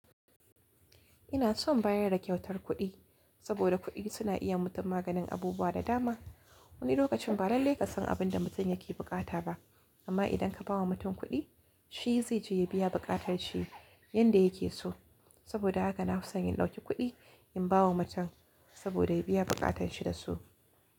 Ina son bayar da kyautar kuɗi saboda kuɗi suna iya yima mutum maganin abubuwa da dama. Wani lokacin ba lallai ka san abin da mutum yake buƙata ba, amma idan ka ba wa mutum kuɗi, shi zai je ya biya buƙatar shi yanda yake so. Saboda haka na fi son in ɗauki kuɗi in ba wa mutum saboda ya biya buƙatanshi da su.